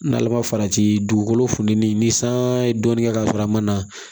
N'ale ma farati dugukolo funtɛni ni san ye dɔɔni kɛ k'a sɔrɔ a ma na